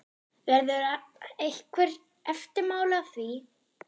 Verða einhver eftirmál að því?